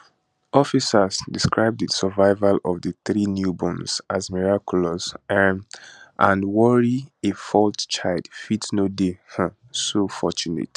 officers describe di survival of di three newborns as miraculous um and worry a fourth child fit no dey um so fortunate